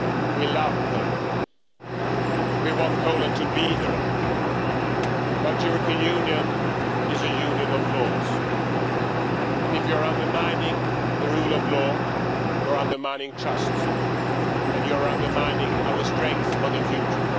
We love Poland. We want Poland to be there but the European Union is a union of laws, and if you are undermining the rule of law you are undermining trust, and you are undermining our strength for the future.